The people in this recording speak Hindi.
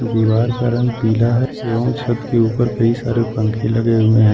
दीवार का रंग पीला है एवं छठ के ऊपर कई सारे पंखे लगे हुए हैं।